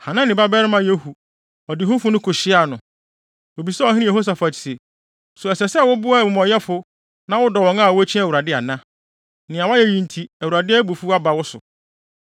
Hanani babarima Yehu, ɔdehufo no kohyiaa no. Obisaa ɔhene Yehosafat se, “So ɛsɛ wo sɛ woboa amumɔyɛfo, na wodɔ wɔn a wokyi Awurade ana? Nea woayɛ yi nti Awurade abufuw aba wo so.